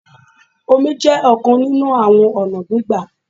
Omi jẹ́ ọ̀kan nínú àwọn ọ̀nà gbígbà.